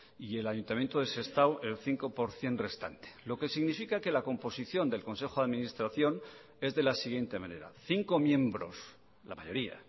y el ayuntamiento de sestao el cinco por ciento restante lo que significa que la composición del consejo de administración es de la siguiente manera cinco miembros la mayoría